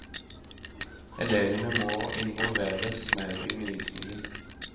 Elevene må involveres mer i undervisningen.